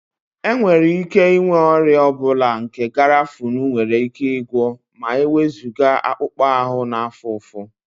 Enwere ike inwe ọrịa ọ bụla nke garafuni nwere ike gwọọ ma ewezuga akpụkpọ ahụ na-afụ ụfụ